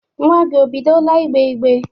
Nwa gị, o bidola ịgbe igbe?